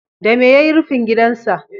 Dame ya yi rufin gidansa?